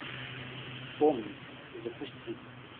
помнить запусти